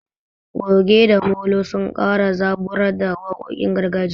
Goge da molo sun kara zaburar da waƙoƙin gargajiya.